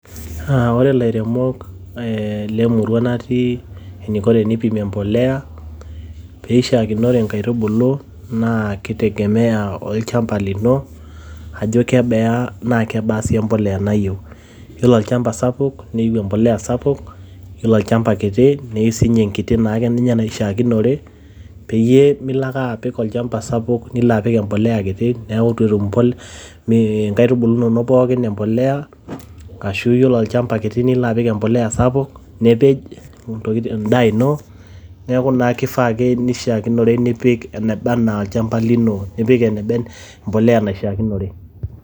Ore lairemok eeh lemurua natii eniko teneipimie empolea pee eishiakinore nkaitubulu naa kitegeamea o lchamba lino ajo kebaa naa kebaa sii empolea nayieu. Yiolo olchamba sapuk neyieu empolea sapuk. Yiolo olchamba kiti neyieu sii enkiti naake nashiakinore pee milo naake olchamba sapuk nilo apik embolea kiti. Niaku eitu etum nkaitubulu inonok empolea ashu ore olchamba kiti nilo apik empolea sapuk nipej en`daa ino. Niaku naa keifaa ake neishiakinore nipik enabaa anaa olchamba lino, nipik empolea nabaa anaa enaishiakinore.